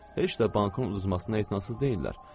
Heç də bankın uzmasına etinasız deyillər.